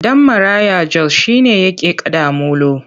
Ɗan maraya Jos shi ne yake kaɗa molo.